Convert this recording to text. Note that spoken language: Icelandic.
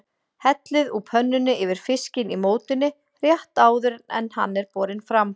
Hellið úr pönnunni yfir fiskinn í mótinu rétt áður en hann er borinn fram.